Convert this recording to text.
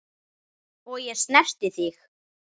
Og ég snerti þig.